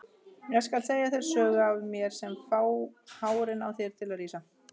Ég skal segja þér sögur af mér sem fá hárin á þér til að rísa.